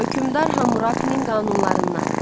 Hökmdar Hamurapinin qanunlarından.